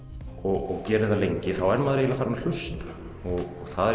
og gerir það lengi þá er maður eiginlega farinn að hlusta og það